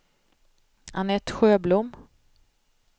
Anette Sjöblom